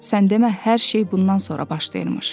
Sən demə hər şey bundan sonra başlayırmış.